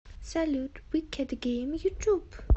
салют викед гейм ютуб